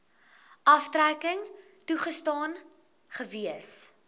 aftrekking toegestaan gewees